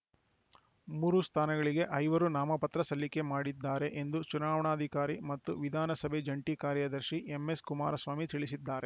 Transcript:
ಮೂರು ಸ್ಥಾನಗಳಿಗೆ ಐವರು ನಾಮಪತ್ರ ಸಲ್ಲಿಕೆ ಮಾಡಿದ್ದಾರೆ ಎಂದು ಚುನಾವಣಾಧಿಕಾರಿ ಮತ್ತು ವಿಧಾನಸಭೆ ಜಂಟಿ ಕಾರ್ಯದರ್ಶಿ ಎಂಎಸ್‌ಕುಮಾರಸ್ವಾಮಿ ತಿಳಿಸಿದ್ದಾರೆ